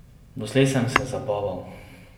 Doslej sem se zabaval.